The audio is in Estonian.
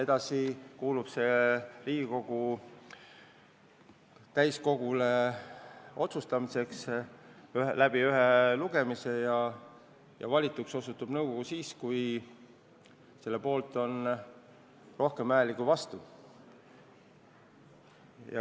Edasi tuleb otsus Riigikogu täiskogul otsustada ühe lugemisega ja valituks osutub nõukogu siis, kui selle poolt on rohkem hääli kui vastu.